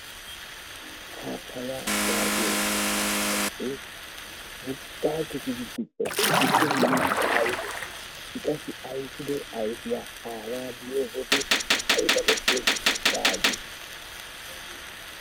Paapaya yagiyo mittaa ayippe, wogga giddi dicci simmidi ayipiya i qassi aypiddo ayfiya